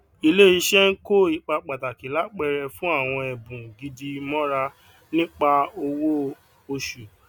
ilé iṣẹ ń kò ipa pàtàkì lápẹẹrẹ fún àwọn ẹbùn gidi mọra nípa ọwó osù